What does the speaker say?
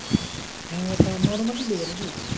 হ্যাঁ ওটা normally নেবে নাকি?